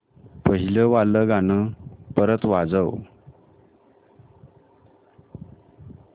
पहिलं वालं गाणं परत वाजव